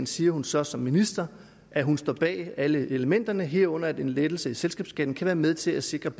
siger hun så som minister at hun står bag alle elementerne herunder en lettelse i selskabsskatten som kan være med til at sikre